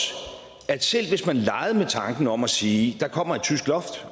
at selv hvis man leger med tanken om at sige at der kommer et tysk loft